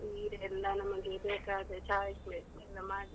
ಅದು ಸೀರೆ ಎಲ್ಲ ನಮಗೆ ಬೇಕಾದ choice ಎಲ್ಲ ಮಾಡ್ಲಿಕ್ಕೆ.